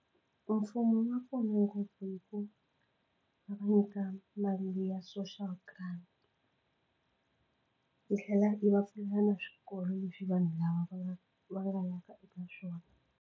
Mfumo wu nga pfuna ngopfu hi ku va nyika mali ya social grant yi tlhela yi va pfulela na swikolo leswi vanhu lava va nga va nga yaka eka swona.